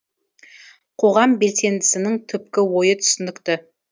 қоғам белсендісінің түпкі ойы түсінікті